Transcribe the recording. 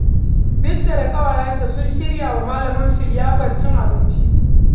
Binta da ƙawayenta sun shirya wa malamansu liyafar cin abinci.